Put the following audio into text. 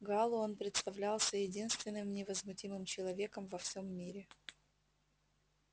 гаалу он представлялся единственным невозмутимым человеком во всем мире